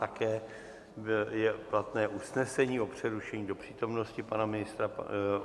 Také je platné usnesení o přerušení do přítomnosti pana ministra.